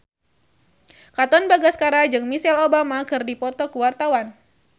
Katon Bagaskara jeung Michelle Obama keur dipoto ku wartawan